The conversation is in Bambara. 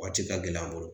Waati ka gɛlɛ an bolo